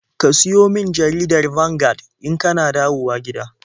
Ka siyo min jaridar Vanguard in ka na dawowa gida.